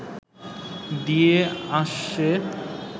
দিয়ে আসছে